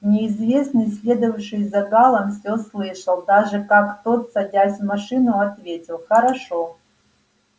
неизвестный следовавший за гаалом всё слышал даже как тот садясь в машину ответил хорошо